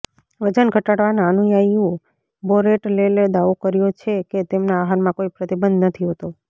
વજન ઘટાડવાના અનુયાયીઓ બોરેટલેલે દાવો કર્યો છે કે તેમના આહારમાં કોઈ પ્રતિબંધ નથી હોતો